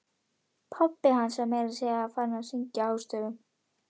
Pabbi hans var meira að segja farinn að syngja hástöfum!